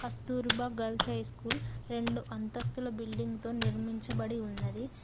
స్తుర్భా girls high school రెండు అంతస్తుల building తో నిర్మించబడి ఉన్నది.